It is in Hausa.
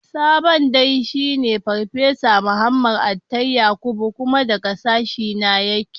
Sabon Dean shine Farfesa Muhammad Attai Yakubu. Kuma daga sashena yake.